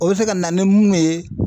O bɛ se ka na ni munnu ye